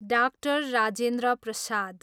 डा. राजेन्द्र प्रसाद